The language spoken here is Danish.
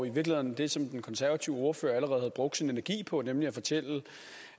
i virkeligheden det som den konservative ordfører allerede havde brugt sin energi på nemlig at fortælle